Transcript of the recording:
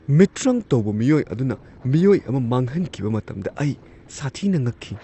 ꯃꯤꯇ꯭ꯔꯪ ꯇꯧꯕ ꯃꯤꯑꯣꯏ ꯑꯗꯨꯅ ꯃꯤꯑꯣꯏ ꯑꯃ ꯃꯥꯡꯍꯟꯈꯤꯕ ꯃꯇꯝꯗ ꯑꯩ ꯁꯥꯊꯤꯅ ꯉꯛꯈꯤ ꯫